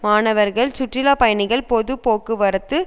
மாணவர்கள் சுற்றுலா பயணிகள் பொது போக்குவரத்து